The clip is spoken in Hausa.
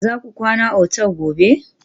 Za ku kwana otal gobe?